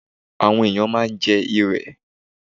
Àwọn ẹ̀yàn máa ń jẹ́ Irẹ̀.